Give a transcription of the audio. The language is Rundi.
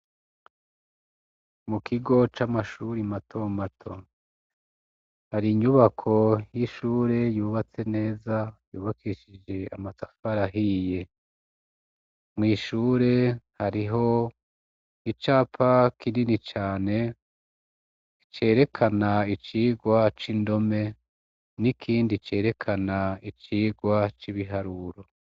Mu kigo c' amashure y' intango, har' inyubako y'ishure yubatse neza yubakishij' amatafar'ahiye, mw' ishure harih' icapa kinini cane canditsek' icigwa c' indome n' ikindi canditsek' icigwa c' ibiharuro.